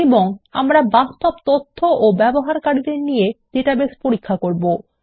এবং আমরা বাস্তব তথ্য ও ব্যবহারকারীদের নিয়ে ডাটাবেস পরীক্ষা করতে পারবো